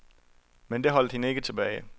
Men det holdt hende ikke tilbage.